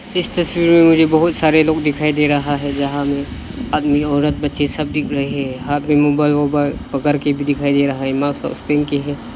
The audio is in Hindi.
इस तस्वीर में मुझे बहुत सारे लोग दिखाई दे रहा है। जहां में आदमी औरत बच्चे सब दिख रहे है। हाथ में मोबाइल वोबाइल पकड़ के भी दिखाई दे रहा है। मास्क वास्क पहन के है।